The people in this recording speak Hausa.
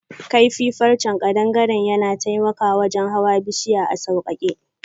Kaifi farrche kadangare yana taimaka wajen hawan bushiya a saukake.